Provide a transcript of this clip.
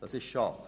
Das ist schade!